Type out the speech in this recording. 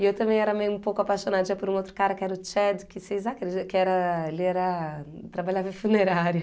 E eu também era meio um pouco apaixonadinha por um outro cara, que era o Chad que vocês acredi... que era ele era trabalhava em funerária.